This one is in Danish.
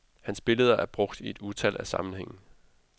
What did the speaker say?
Hans billeder er brugt i et utal af sammenhænge.